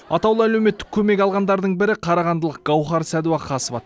атаулы әлеуметтік көмек алғандардың бірі қарағандылық гауһар сәдуақасова